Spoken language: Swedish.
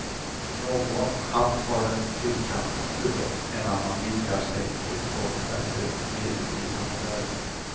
Någon hatt har fyrkantig kulle, en annnan vidgar sig uppåt efter medeltida modell.